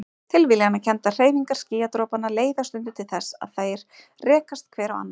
Tilviljanakenndar hreyfingar skýjadropanna leiða stundum til þess að þeir rekast hver á annan.